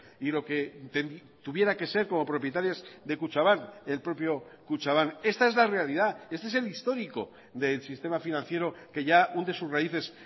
y lo que tuviera que ser como propietarias de kutxabank el propio kutxabank esta es la realidad este es el histórico del sistema financiero que ya hunde sus raíces